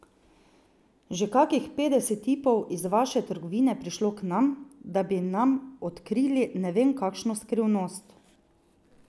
Že kakih petdeset tipov iz vaše trgovine je prišlo k nam, da bi nam odkrili ne vem kakšno skrivnost.